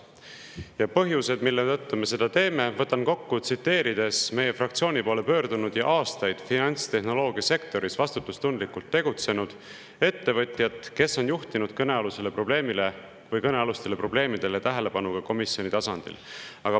Ja põhjused, mille tõttu me seda teeme, võtan kokku, tsiteerides üht meie fraktsiooni poole pöördunud ettevõtjat, kes on aastaid finantstehnoloogia sektoris vastutustundlikult tegutsenud ja juhtinud kõnealusele probleemile või kõnealustele probleemidele tähelepanu ka komisjonis.